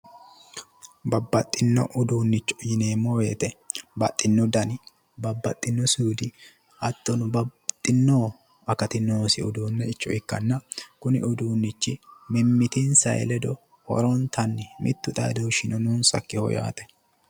babbaxxino uduunnicho yineemmowoyite babbaxxinno dani babbxxinno suudi hattono babbaxxinno akati noosi uduunnicho ikkanna kuni uduunnichi mimmitinsa ledo horontayi mittu xaadooshshino noonsakkiho yaate.